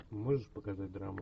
можешь показать драму